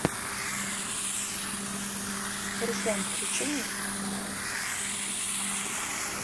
руслан включи мне